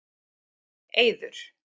Eiður